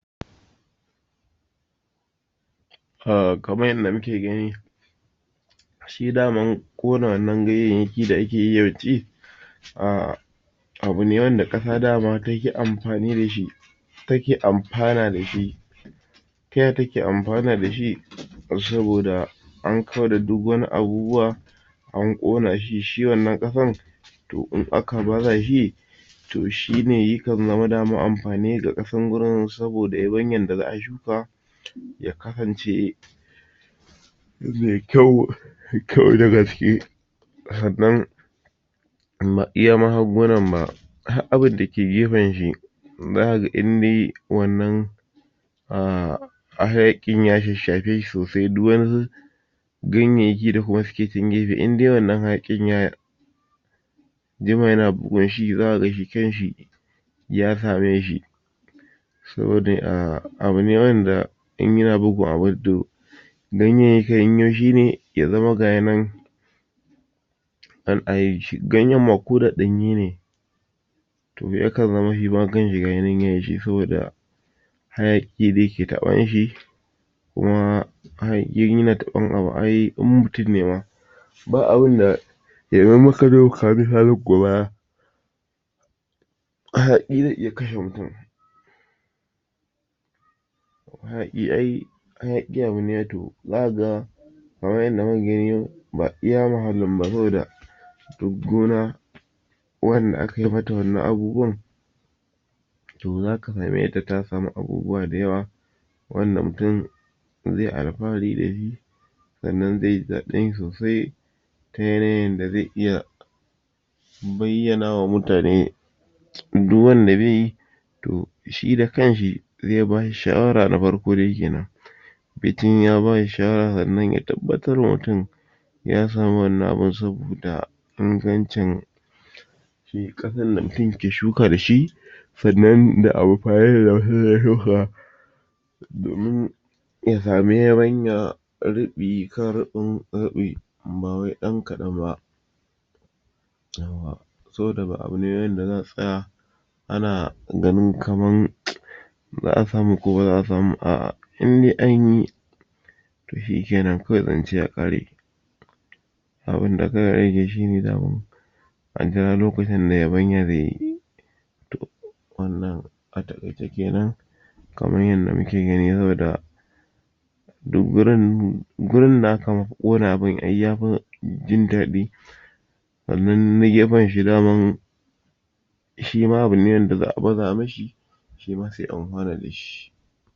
um kamar yanda muke gani shi daman ƙonanan ganye da ake yi yawanci um abu ne wanda ƙasa daman take amfani dashi take amfana dashi taya take amfana dashi saboda an kauda duk wani abubuwa an ƙona shi shi wannan ƙasan to in aka baza shi to shine yakan zama dama amfani ga ƙasan gurin saboda yabanyan da za'a shuka ya kasance me kyau me kyau a ciki sannan amma iya ma har gonar ma har abunda ke gefanshi zaka ga indai wannan um hayaƙin ya shashsha feshi sosai duk wani ganyayyaki da kuma suke can gefe indai wannan hayaƙin ya ya jima yana gurinzakaga shi kanshi ya kame shi saboda um abu ne wanda binku abun to ganyeyyakun shine ya zama gashi nan ganyen ma koda ɗanye ne to yakan zama shima kanshi gashi nan saboda hayaƙi da yake taɓan shi kuma hayaƙi in yana taɓan abu ai in mutum ne ma ba abun da hayaƙi ze iya kashe mutum hayaƙi ai hayaƙi abune ai to zaka ga kamar yadda muka gani ba iya muhallin ba saboda duk gona wanda akai mata wannan abubuwan to zaka same ta ta samu abubuwa da yawa wanda mutum ze alfahari dashi sannan ze ji daɗin shi sosai kan yanayin yanda ze iya bayyanawa mutane duk wanda zeyi to to shida kanshi ze bashi shawara na farko dai kenan mutum ya bashi shawara sannan ya tabbatar wa mutum ya samu wannan aun saboda ingancin shi ƙasan da kake shuka dashi sannan da amfanin da mutum ze shuka domin ta samu yabanya riɓi kan riɓin riɓi ba wai ɗan kaɗan ba saboda ba abu ne wanda zasu tsaya ana ganin kaman za'a samu ko baza'a samu ba a'ah indai anyi to shike nan kawai zance ya ƙare abun da ka ajiye kawai shine daman a jira lokacin da yabanya ze yi to wannan a taƙaice kenan kamar yadda muke gani saboda duk gurin ,gurin da aka ƙona abun ai yafi jin daɗi sannan na gefan shi daman shima abune wanda za'a baza mishi shima ze amfana dashi